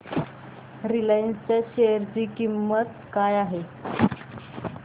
Reliance च्या share ची किंमत काय आहे